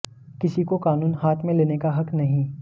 किसी को कानून हाथ में लेने का हक नहीं